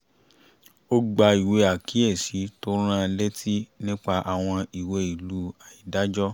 ó gba ìwé àkíyési tó ń rán an létí nípa àwọn ìwé ìlú àìdájọ